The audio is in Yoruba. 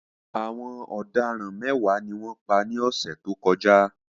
Àwọn ọ̀daràn mẹ́wàá ni wọ́n pa ní ọ̀sẹ̀ tó kọjá.